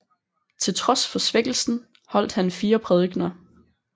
Til trods for svækkelsen holdt han fire prædikener